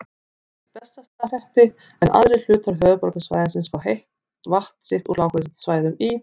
Bessastaðahreppi, en aðrir hlutar höfuðborgarsvæðisins fá vatn sitt úr lághitasvæðum í